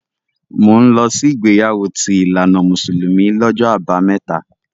Mò ń lọ sí ìgbéyàwó ti ìlànà mùsùlùmí lọ́jọ́ Àbámẹ́ta.